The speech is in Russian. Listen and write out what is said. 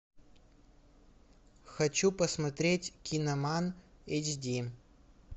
хочу посмотреть киноман эйч ди